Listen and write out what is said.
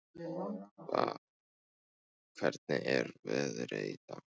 Vár, hvernig er veðrið í dag?